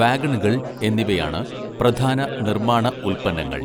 വാഗണുകൾ എന്നിവയാണ് പ്രധാന നിർമ്മാണ ഉൽപ്പന്നങ്ങൾ.